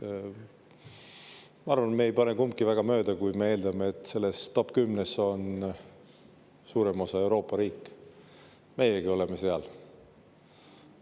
Ma arvan, et me ei pane kumbki väga mööda, kui me eeldame, et selles top 10-s on suurem osa Euroopa riike, meiegi oleme seal.